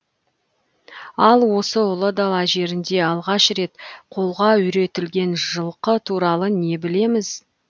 ал осы ұлы дала жерінде алғаш рет қолға үйретілген жылқы туралы не білеміз